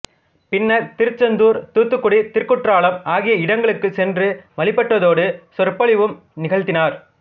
பின்னர்த் திருச்செந்தூர் தூத்துக்குடி திருக்குற்றாலம் ஆகிய இடங்கட்குச் சென்று வழிபட்டதோடு சொற்பொழிவும் நிகழ்த்தினார்